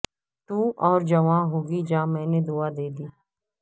تو اور جواں ہوگی جا میں نے دعا دی ہے